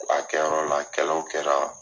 A kɛ yɔrɔ la kɛlɛw kɛra.